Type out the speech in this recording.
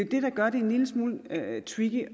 det der gør det en lille smule tricky